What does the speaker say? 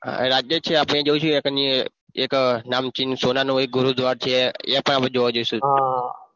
હા રાજ્ય છે આપણે જોઈશું એક નામ સોનાનો હોય ગુરુદ્વાર છે એ પણ આપણે જોવા જઈશું